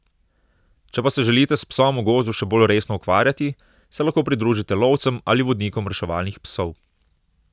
Če pa se želite s psom v gozdu še bolj resno ukvarjati, se lahko pridružite lovcem ali vodnikom reševalnih psov.